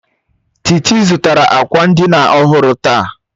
Titi zụtara akwa ndina ọhụrụ taa